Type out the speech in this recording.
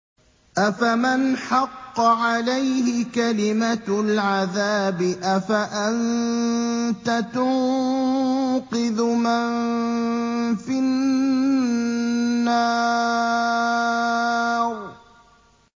أَفَمَنْ حَقَّ عَلَيْهِ كَلِمَةُ الْعَذَابِ أَفَأَنتَ تُنقِذُ مَن فِي النَّارِ